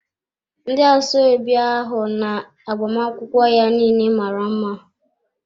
Ndị asoebi ahụ na agbamakwụkwọ ya niile mara mma.